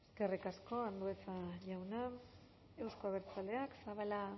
eskerrik asko andueza jauna euzko abertzaleak zabala